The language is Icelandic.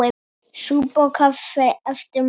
Súpa og kaffi eftir messu.